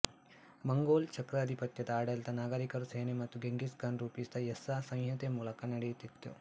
Mongol ಚಕ್ರಾಧಿಪತ್ಯದ ಆಡಳಿತ ನಾಗರೀಕರು ಸೇನೆ ಮತ್ತು ಗೆಂಘಿಸ್ ಖಾನ್ ರೂಪಿಸಿದ ಯಸ್ಸಾ ಸಂಹಿತೆ ಮೂಲಕ ನಡೆಯುತ್ತಿತ್ತು